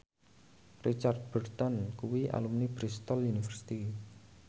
Richard Burton kuwi alumni Bristol university